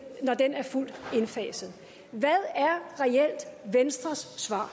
når den er fuldt indfaset hvad er reelt venstres svar